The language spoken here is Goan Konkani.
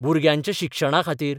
भुरग्यांच्या शिक्षणाखातीर.....